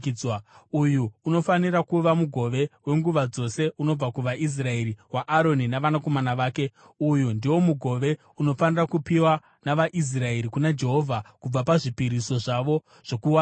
Uyu unofanira kuva mugove wenguva dzose unobva kuvaIsraeri, waAroni navanakomana vake. Uyu ndiwo mugove unofanira kupiwa navaIsraeri kuna Jehovha kubva pazvipiriso zvavo zvokuwadzana.